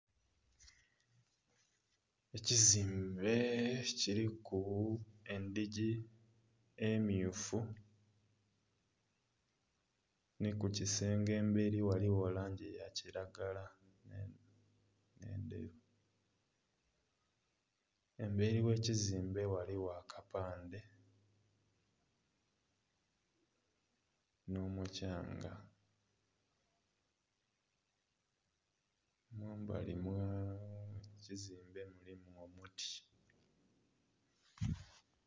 Ekizimbe kiliku endhigi emmyufu nhi ku kisenge emberi ghaligho langi ya kilagala. Emberi gh'ekizimbe ghaligho akapande nh'omuthyanga. Mumbali mw'ekizimbe mulimu obuti.